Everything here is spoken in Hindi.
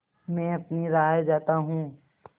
मैं अपनी राह जाता हूँ